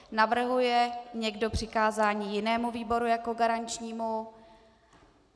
Navrhuje někdo přikázání jinému výboru jako garančnímu?